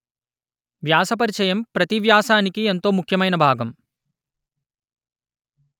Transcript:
వ్యాస పరిచయం ప్రతీ వ్యాసానికి ఎంతో ముఖ్యమైన భాగం